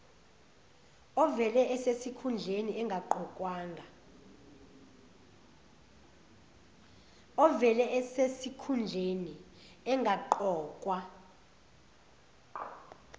ovele esesikhundleni engaqokwa